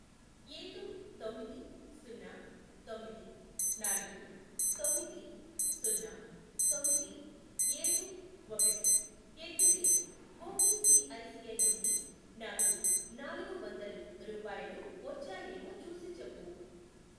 ఏడు, తొమ్మిది, సున్నా, తొమ్మిది, నాలుగు, తొమ్మిది, సున్నా, తొమ్మిది, ఏడు, ఒకటి, ఎట్ ది రేట్ ఒకేసిఐసిఐ నుండి నాకు నాలుగు వందలు రూపాయలు వచ్చాయేమో చూసిచెప్పు.